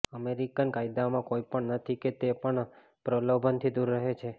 American કાયદોમાં કંઇ પણ નથી કે તે પણ પ્રલોભનથી દૂર રહે છે